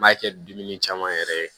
N b'a kɛ dumuni caman yɛrɛ ye